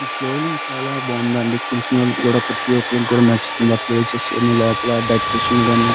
ఈ ఫ్లోరింగ్ చాలా బాగుందండి చూసినవాళ్లకు ప్రతిఒక్కరుకు కూడా నచ్చుతుంది ఆ ప్లేసెస్ లోపల టెక్నీషియన్ గాని --